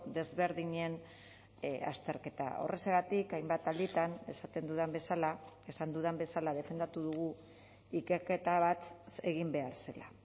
desberdinen azterketa horrexegatik hainbat alditan esaten dudan bezala esan dudan bezala defendatu dugu ikerketa bat egin behar zela